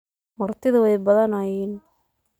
Martidha way badnayeen.